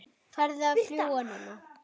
Farðu að fljúga, núna